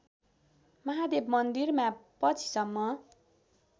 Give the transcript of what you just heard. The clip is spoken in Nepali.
महादेव मन्दिरमा पछिसम्म